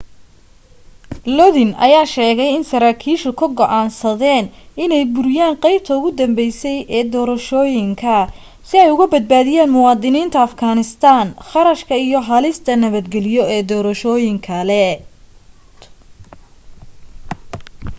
lodin ayaa sheegay in sarakiisha ku go'aansadeen inay buriyaan qaybta ugu dambeysay ee doorashooyinka si ay uga badnaadiyaan muwadiniinta afghanistan kharashka iyo halista nabadgeliyo ee doorashooyin kale